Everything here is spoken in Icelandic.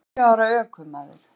Níu ára ökumaður